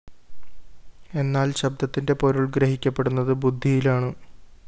എന്നാല്‍ ശബ്ദത്തിന്റെ പൊരുള്‍ ഗ്രഹിക്കപ്പെടുന്നത് ബുദ്ധിയിലാണ്